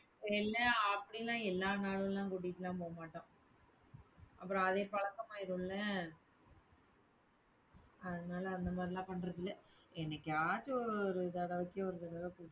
இல்ல அப்படிலாம் எல்லா நாளும் கூட்டிட்டெல்லாம் போகமாட்டோம். அப்புறம் அதே பழக்கம் ஆயிருமில்ல அதனால அந்த மாதிரிலாம் பண்றது இல்ல. என்னைக்காச்சும் ஒரு தடவைக்கு ஒரு தடவை கூட்டிட்டு